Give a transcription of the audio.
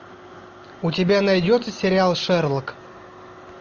у тебя найдется сериал шерлок